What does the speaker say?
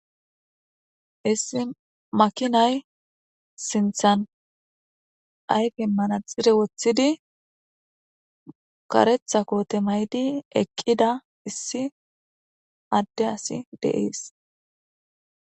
issi makinay sinthan ayfi manaxire woththidi karetha koote maydi eqqida issi adde asi deiis